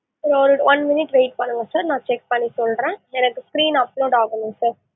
sir ஒரு one minute wait பண்ணுங்க sir நான் check பண்ணி சொல்றேன், எனக்கு screen upload ஆகல sir